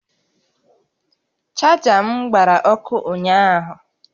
Chaja m gbara ọkụ ụnyaahụ